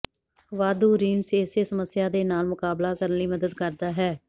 ਵਾਧੂ ਰਿੰਸ ਇਸੇ ਸਮੱਸਿਆ ਦੇ ਨਾਲ ਮੁਕਾਬਲਾ ਕਰਨ ਲਈ ਮਦਦ ਕਰਦਾ ਹੈ